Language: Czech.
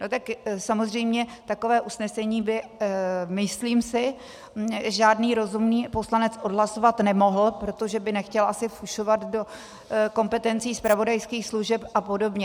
No tak samozřejmě takové usnesení by, myslím si, žádný rozumný poslanec odhlasovat nemohl, protože by nechtěl asi fušovat do kompetencí zpravodajských služeb a podobě.